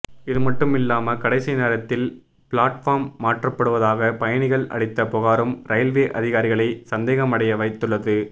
இதுமட்டுமில்லாமல் கடைசி நேரத்தில் பிளாட்பார்ம் மாற்றப்படுவதாக பயணிகள் அளித்த புகாரும் ரயில்வே அதிகாரிகளை சந்தேகமடையவைத்துள்ளது